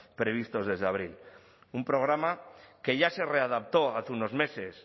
previstos desde abril un programa que ya se readaptó hace unos meses